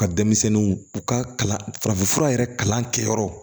U ka denmisɛnninw u ka kalan farafinfura yɛrɛ kalan kɛ yɔrɔ